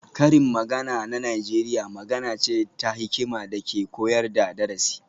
Karin magana na Najeriya magana ce ta hikima da ke koyar da darasi